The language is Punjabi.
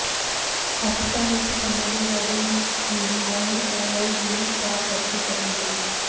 ਪਾਕਿਸਤਾਨ ਵਿੱਚ ਓਸਾਮਾ ਬਿਨ ਲਾਦਿਨ ਨੂੰ ਮਾਰਨ ਦੀ ਕਾਰਵਾਈ ਵੀ ਲੀਕ ਪਾਰ ਕਰਕੇ ਕਰਨੀ ਪਈ